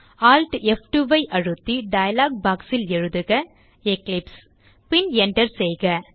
Alt மற்றும் F2 ஐ அழுத்தி டயலாக் box ல் எழுதுக எக்லிப்ஸ் பின் enter செய்க